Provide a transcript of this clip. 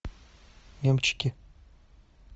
эмчики